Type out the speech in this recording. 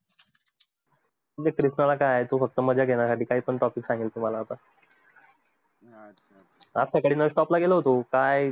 मित्र, तवा काय तू फक्त मजा घेण्यासाठी काही पण topic सांगेल तुम्हाला आता काय आज सकाळी bus stop ला गेलो होतो. काय